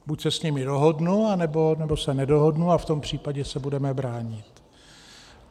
Buď se s nimi dohodnu, anebo se nedohodnu, a v tom případě se budeme bránit.